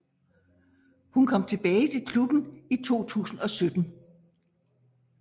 Hun kom tilbage til klubben i 2017